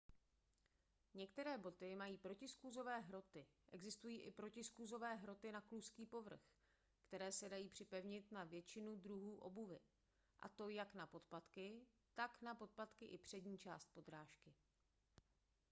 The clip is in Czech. některé boty mají protiskluzové hroty existují i protiskluzové hroty na kluzký povrch které se dají připevnit na většinu druhů obuvi a to jak na podpatky tak na podpatky i přední část podrážky